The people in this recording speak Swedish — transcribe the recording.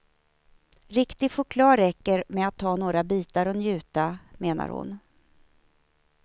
Riktig choklad räcker med att ta några bitar och njuta, menar hon.